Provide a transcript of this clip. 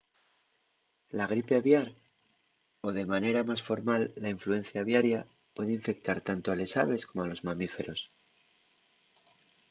la gripe aviar o de manera más formal la influencia aviaria puede infectar tanto a les aves como a los mamíferos